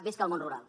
visca el món rural